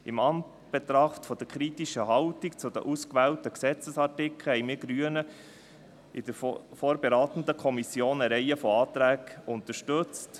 In Anbetracht der kritischen Haltung zu den ausgewählten Gesetzesartikeln haben wir Grünen in der vorberatenden Kommission eine Reihe von Anträgen unterstützt.